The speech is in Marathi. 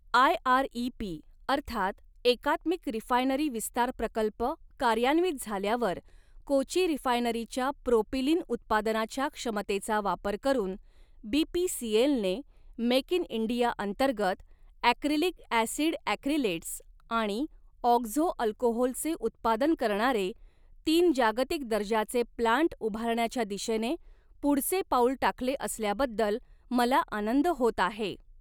आयआऱईपी अर्थात एकात्मिक रिफायनरी विस्तार प्रकल्प कार्यान्वित झाल्यावर कोची रिफायनरीच्या प्रोपिलिन उत्पादनाच्या क्षमतेचा वापर करून बीपीसीएलने मेक इन इंडिया अंतर्गत ॲक्रिलिक ॲसिड ॲक्रिलेट्स आणि ऑक्झो अल्कोहोलचे उत्पादन करणारे तीन जागतिक दर्जाचे प्लान्ट उभारण्याच्या दिशेने पुढचे पाऊल टाकले असल्याबद्दल मला आनंद होत आहे.